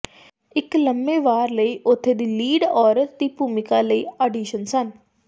ਇੱਕ ਲੰਮੇ ਵਾਰ ਲਈ ਉਥੇ ਦੀ ਲੀਡ ਔਰਤ ਦੀ ਭੂਮਿਕਾ ਲਈ ਆਡੀਸ਼ਨ ਸਨ